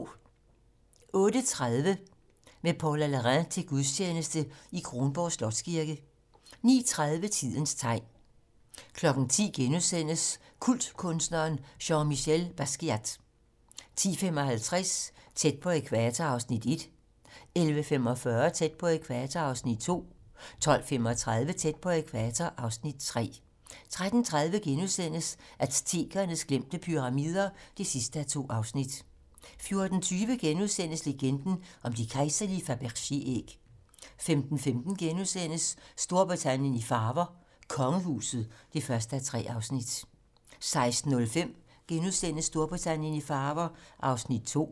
08:30: Med Paula Larrain til gudstjeneste i Kronborg Slotskirke 09:30: Tidens tegn 10:00: Kultkunstneren Jean-Michel Basquiat * 10:55: Tæt på ækvator (Afs. 1) 11:45: Tæt på ækvator (Afs. 2) 12:35: Tæt på ækvator (Afs. 3) 13:30: Aztekernes glemte pyramider (2:2)* 14:20: Legenden om de kejserlige Fabergé-æg * 15:15: Storbritannien i farver: Kongehuset (1:3)* 16:05: Storbritannien i farver (2:3)*